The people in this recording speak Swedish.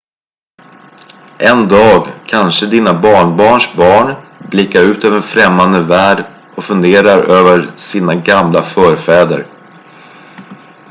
en dag kanske dina barnbarns barn blickar ut över en främmande värld och funderar över sina gamla förfäder